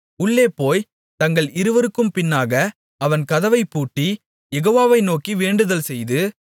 உள்ளே போய்த் தங்கள் இருவருக்கும் பின்னாக அவன் கதவைப்பூட்டி யெகோவாவை நோக்கி வேண்டுதல்செய்து